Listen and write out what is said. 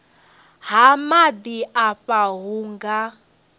ha maḓi afha hu nga